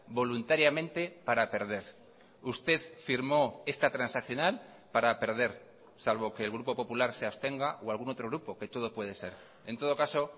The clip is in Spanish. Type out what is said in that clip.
voluntariamente para perder usted firmó esta transaccional para perder salvo que el grupo popular se abstenga o algún otro grupo que todo puede ser en todo caso